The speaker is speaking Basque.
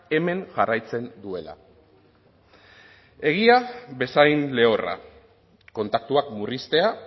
hemen jarraitzen duela egia bezain lehorra kontaktuak murriztea